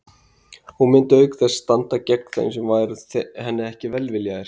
Hún myndi auk þess standa gegn þeim sem væru henni ekki velviljaðir.